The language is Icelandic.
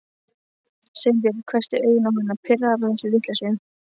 Sveinbjörn hvessti augun á hana, pirraður á þessari vitleysu.